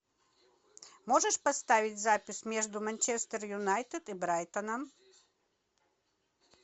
можешь поставить запись между манчестер юнайтед и брайтоном